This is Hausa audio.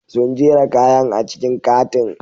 Sun jera kayan a cikin katin.